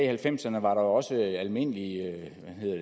halvfemserne var der også almindelige